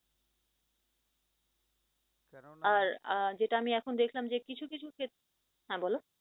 আর আহ যেটা আমি এখন দেখলাম যে কিছু কিছু ক্ষেত্রে, বল